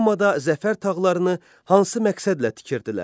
Romada zəfər tağlarını hansı məqsədlə tikirdilər?